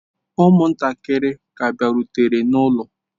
Ụmụntakịrị ka bịarutere n'ụlọ.